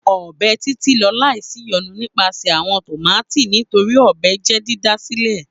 Ọ́bẹ Titi n lọ laisiyonu nipasẹ awọn tomati nitori ọ́bẹ jẹ didasilẹ.